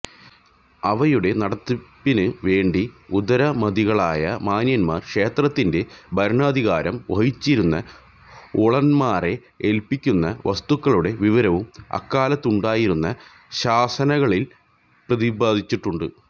അവയുടെ നടത്തിപ്പിന് വേണ്ടി ഉദാരമതികളായ മാന്യന്മാര് ക്ഷേത്രത്തിന്റെ ഭരണാധികാരം വഹിച്ചിരുന്ന ഊരാളന്മാരെ എല്പ്പിക്കുന്ന വസ്തുക്കളുടെ വിവരവും അക്കാലത്തുണ്ടായിരുന ശാസനങ്ങളില് പ്രദിപാദിച്ചിട്ടുണ്ട്